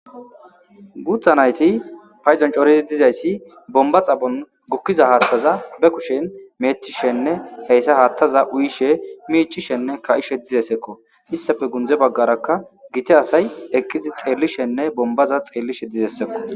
Gutha na'ayti paydon c'oridi dizaysi bomba xaphon gukiza hathaza be kushen metishenne heysa hathaza uyishe mic'ishenne ka'ishe dizaysako istape gunze bagaraka gita asay eqizi xelishenne bombaza xelishe dizaysakko.